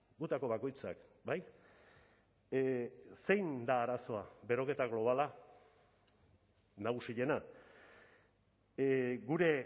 gutako bakoitzak bai zein da arazoa beroketa globala nagusiena gure